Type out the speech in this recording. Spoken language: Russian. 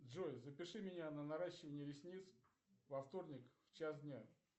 джой запиши меня на наращивание ресниц во вторник в час дня